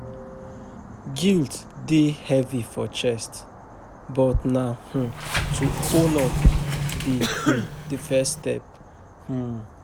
Guilt dey heavy for chest, but na um to own up be um the first step um.